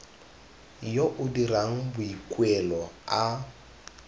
yo o dirang boikuelo a